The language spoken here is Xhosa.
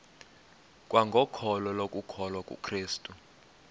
kwangokholo lokukholwa kukrestu